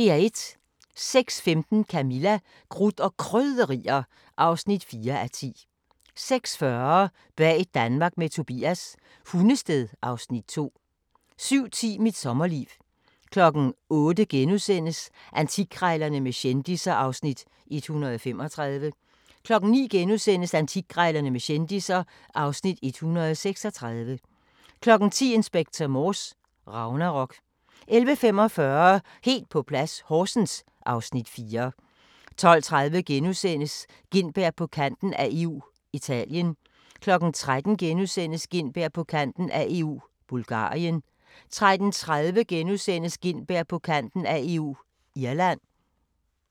06:15: Camilla – Krudt og Krydderier (4:10) 06:40: Bag Danmark med Tobias – Hundested (Afs. 2) 07:10: Mit sommerliv 08:00: Antikkrejlerne med kendisser (Afs. 135)* 09:00: Antikkrejlerne med kendisser (Afs. 136)* 10:00: Inspector Morse: Ragnarok 11:45: Helt på plads - Horsens (Afs. 4) 12:30: Gintberg på kanten af EU – Italien * 13:00: Gintberg på kanten af EU – Bulgarien * 13:30: Gintberg på kanten af EU – Irland *